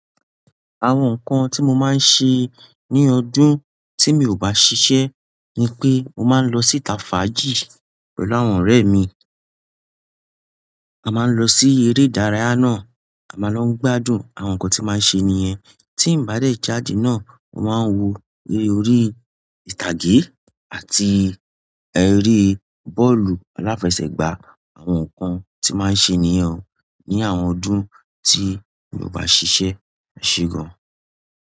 Àwọn nkàn ti mo ma n se ní ọdún ti mi ò bá sisé ni pé mo ma n lọ sí Tafaji pẹ̀lú àwọn ọrẹ mi. A ma n lọ sí eré ìdárayá náà, a ma lọ gbádùn àwọn nkàn ti a máa n ṣe níyẹn. Tí n bá dé jáde náà, mo ma n wo eré orí ìtàgé àti eré bọ́ọ̀lù aláfẹsẹ̀gbá, àwọn nkàn tí a máa n ṣe níyẹn ni àwọn ọdún tí mi ò bá ṣiṣẹ́, máa ṣe gan.